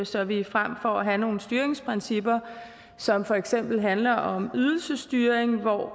så vi frem for at have nogle styringsprincipper som for eksempel handler om ydelsesstyring hvor